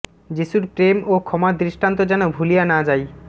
যিশুর প্রেম ও ক্ষমার দৃষ্টান্ত যেন ভুলিয়া না যাই